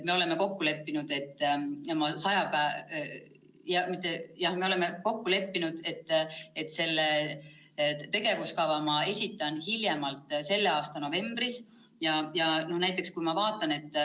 Me oleme kokku leppinud, et selle tegevuskava ma esitan hiljemalt selle aasta novembris.